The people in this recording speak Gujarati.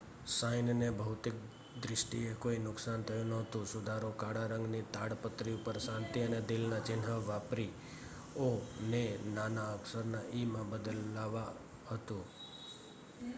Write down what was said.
"સાઈનને ભૌતિક દ્રિષ્ટીએ કોઈ નુકસાન થયુ નહોતુ; સુધારો કાળા રંગની તાડપત્રી ઉપર શાંતિ અને દિલ ના ચિન્હ વાપરી "ઓ" ને નાના અક્ષર ના "ઈ""માં બદલાવા હતુ .